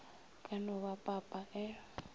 ka no ba papa e